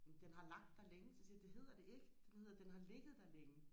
jamen den har lagt der længe så siger jeg det hedder det ikke det hedder den har ligget der længe